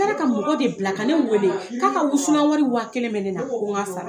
A kilala ka mɔgɔ de bila ka ne weele k'a ka wusulan wari wa kelen mɛ ne na, ko n ga sara.